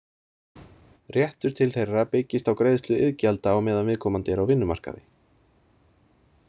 Réttur til þeirra byggist á greiðslu iðgjalda á meðan viðkomandi er á vinnumarkaði.